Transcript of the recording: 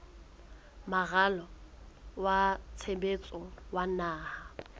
moralo wa tshebetso wa naha